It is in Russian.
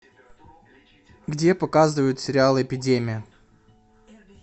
где показывают сериал эпидемия